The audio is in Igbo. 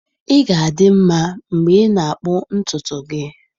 Ị ga-adị nma mgbe ị na-akpụ ntutu gị.